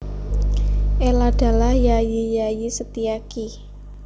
Eladalah Yayi Yayi Setiaki